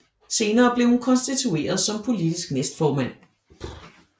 Senere blev hun konstitueret som politisk næstformand